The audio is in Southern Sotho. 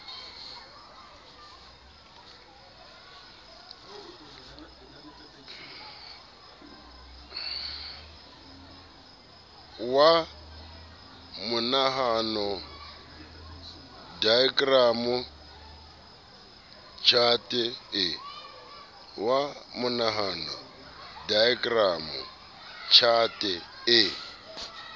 wa monahano daekramo tjhate e